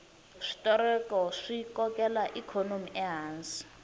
switereko swi kokela ikhonomi ehansi